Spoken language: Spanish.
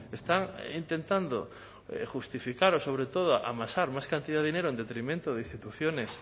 está intentando justificar o sobre todo amasar más cantidad de dinero en detrimento de instituciones